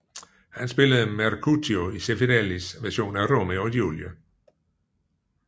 Han spillede Mercutio i Zeffirellis version af Romeo og Julie